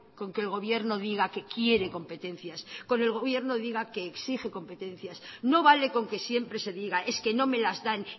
con que el gobierno diga que quiere competencias con el gobierno diga que exige competencias no vale con que siempre se diga es que no me las dan